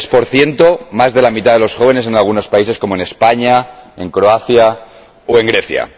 23 Más de la mitad de los jóvenes en algunos países, como en España, en Croacia o en Grecia.